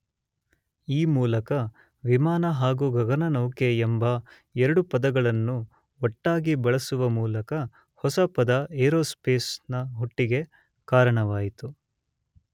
ಈ ಮೂಲಕ ವಿಮಾನ ಹಾಗು ಗಗನನೌಕೆ ಎಂಬ ಎರಡು ಪದಗಳನ್ನು ಒಟ್ಟಾಗಿ ಬಳಸುವ ಮೂಲಕ ಹೊಸ ಪದ ಏರೋಸ್ಪೇಸ್ ನ ಹುಟ್ಟಿಗೆ ಕಾರಣವಾಯಿತು.